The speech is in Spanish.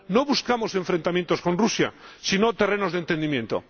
no buscamos enfrentamientos con Rusia, sino terrenos de entendimiento.